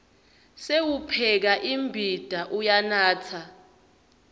sewupheka imbita uyanatsa